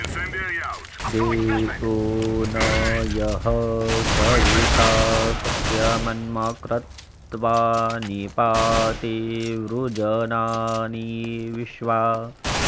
दे॒वो न यः स॑वि॒ता स॒त्यम॑न्मा॒ क्रत्वा॑ नि॒पाति॑ वृ॒जना॑नि॒ विश्वा॑